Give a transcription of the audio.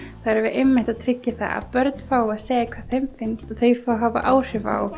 erum við að tryggja að börn fái að segja hvað þeim finnst og þau fá að hafa áhrif á